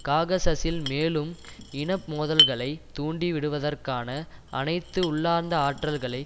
காகசஸில் மேலும் இன மோதல்களை தூண்டி விடுவதற்கான அனைத்து உள்ளார்ந்த ஆற்றல்களை